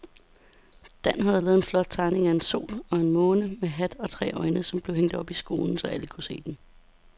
Dan havde lavet en flot tegning af en sol og en måne med hat og tre øjne, som blev hængt op i skolen, så alle kunne se den.